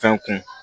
Fɛn kun